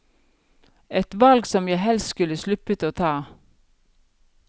Et valg som jeg helst skulle sluppet å ta.